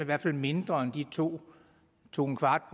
hvert fald mindre end de to 2¼